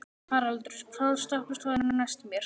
Haraldur, hvaða stoppistöð er næst mér?